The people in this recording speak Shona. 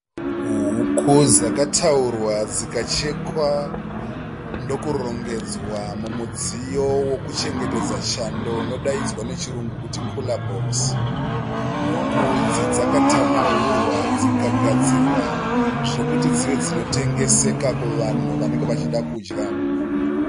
huku dzakataurwa dzikachekwa ndokurongedzwa mumudziyo vekuchengetera chando unodzaidzwa nechirungu kunzi kura bhokisi. Huku idzi dzakatanhaurwa dzikagadzirwa zvokuti dzimwe dzinotengeseka kuvanhu vanenge vachida kudya